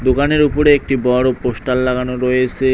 দোকানের উপরে একটি বড় পোষ্টার লাগানো রয়েসে।